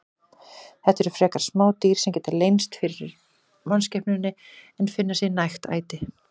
Þetta eru frekar smá dýr sem geta leynst fyrir mannskepnunni en finna sér nægt æti.